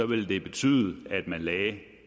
ville det betyde at man lagde